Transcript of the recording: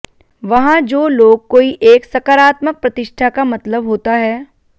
वहाँ जो लोग कोई एक सकारात्मक प्रतिष्ठा का मतलब होता है